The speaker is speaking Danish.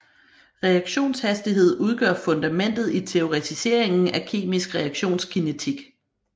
Reaktionshastighed udgør fundamentet i teoretiseringen af kemisk reaktionskinetik